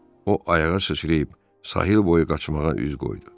O ayağa sıçrayıb sahil boyu qaçmağa üz qoydu.